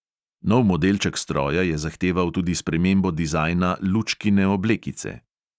Nov modelček stroja je zahteval tudi spremembo dizajna lučkine oblekice.